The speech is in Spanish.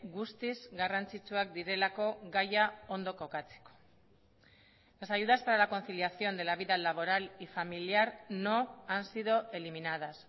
guztiz garrantzitsuak direlako gaia ondo kokatzeko las ayudas para la conciliación de la vida laboral y familiar no han sido eliminadas